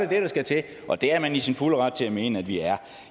det der skal til og det er man i sin fulde ret til at mene at vi er